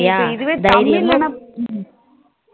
அப்போ இதுவே தமிழ் லனா